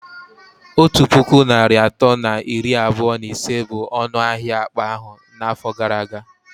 Otu puku naịra atọ na iri abụọ na ise bụ ọnụ ahịa akpa ahụ n'afọ gara aga